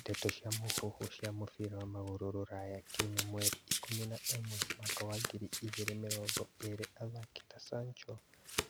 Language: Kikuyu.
Ndeto cia mũhuhu cia mũbira wa magũrũ Rũraya kiumia mweri ikũmi na ĩmwe mwaka wa ngiri igĩrĩ mĩrongo ĩrĩ athaki ta Sancho,